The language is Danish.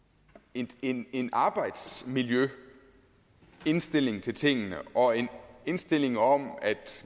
en en arbejdsmiljømæssig indstilling til tingene og en indstilling om at